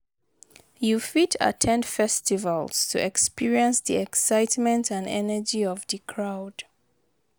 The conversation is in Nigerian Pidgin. you fit at ten d festivals to experience di excitement and energy of di crowd.